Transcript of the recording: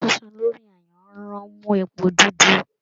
Iṣu sísun lórí ayanran n mú èpo dúdú